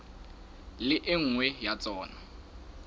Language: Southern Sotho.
le e nngwe ya tsona